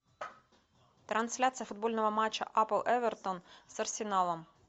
трансляция футбольного матча апл эвертон с арсеналом